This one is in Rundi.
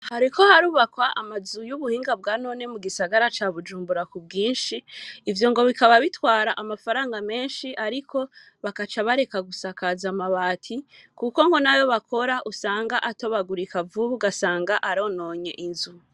Hariko harubakwa, amazu y'ubuhinga, bwa none, mu gisagara ca Bujumbura, ku bwinshi; ivyo ngo, bikaba bitwara amafaranga menshi, ariko, bagaca bareka, gusakaza amabati; kuko ngo n'ayo bakora, usanga atobagurika vuba, ugasanga arononye inzu.